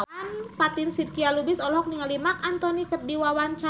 Fatin Shidqia Lubis olohok ningali Marc Anthony keur diwawancara